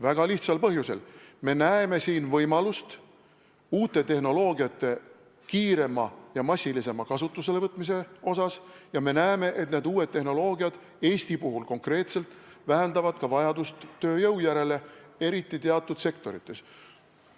Väga lihtsalt põhjusel: me näeme siin võimalust uute tehnoloogiate kiiremaks ja massilisemaks kasutuselevõtuks ja me näeme, et need uued tehnoloogiad vähendavad konkreetselt Eesti puhul ka vajadust tööjõu järele, eriti teatud sektorites.